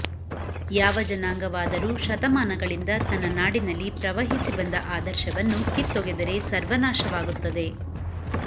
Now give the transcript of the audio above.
ಯಾವ ಜನಾಂಗವಾದರೂ ಶತಮಾನಗಳಿಂದ ತನ್ನ ನಾಡಿನಲ್ಲಿ ಪ್ರವಹಿಸಿ ಬಂದ ಆದರ್ಶವನ್ನು ಕಿತ್ತೊಗೆದರೆ ಸರ್ವನಾಶವಾಗುತ್ತದೆ